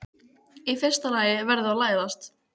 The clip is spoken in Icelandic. Í fyrsta lagi verður þú að læðast.